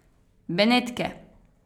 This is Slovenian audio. Benetke!